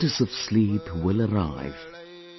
The goddess of sleep will arrive,